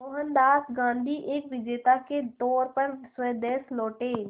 मोहनदास गांधी एक विजेता के तौर पर स्वदेश लौटे